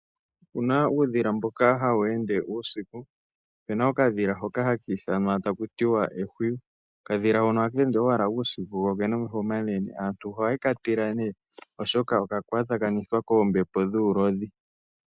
Opuna uudhila mboka hawu ende uusiku. Opena okadhila hoka haka ithanwa taku tiwa ehwiyu. Okadhila hono ohaka ende owala uusiku ko okena omeho omanene. Aantu ohaye ka tila nee oshoka oka kwatakanithwa koombepo dhuulodhi.